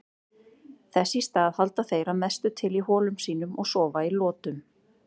Þess í stað halda þeir að mestu til í holum sínum og sofa í lotum.